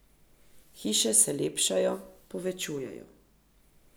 Hiše se lepšajo, povečujejo.